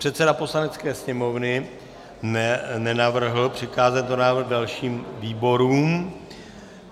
Předseda Poslanecké sněmovny nenavrhl přikázat tento návrh dalším výborům.